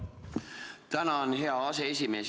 Tänan, hea aseesimees!